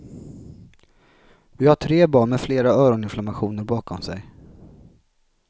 Vi har tre barn med flera öroninflammationer bakom sig.